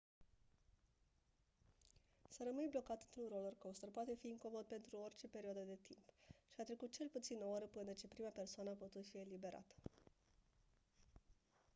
să rămâni blocat într-un roller-coaster poate fi incomod pentru orice perioadă de timp și a trecut cel puțin o oră până ce prima persoană a putut fi eliberată